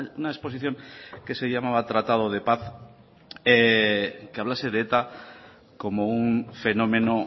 una exposición que se llamaba tratado de paz que hablase de eta como un fenómeno